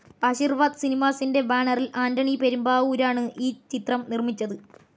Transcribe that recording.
ആശിർവാദ് സിനിമാസിൻ്റെ ബാനറിൽ ആൻ്റണി പെരുമ്പാവൂരാണ് ഈ ചിത്രം നിർമ്മിച്ചത്.